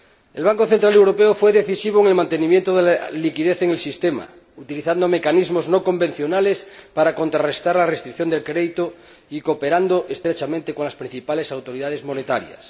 El Banco Central Europeo fue decisivo en el mantenimiento de la liquidez en el sistema, utilizando mecanismos no convencionales para contrarrestar la restricción del crédito y cooperando estrechamente con las principales autoridades monetarias.